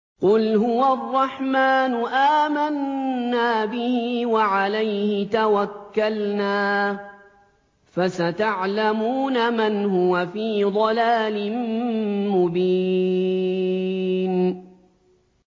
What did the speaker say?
قُلْ هُوَ الرَّحْمَٰنُ آمَنَّا بِهِ وَعَلَيْهِ تَوَكَّلْنَا ۖ فَسَتَعْلَمُونَ مَنْ هُوَ فِي ضَلَالٍ مُّبِينٍ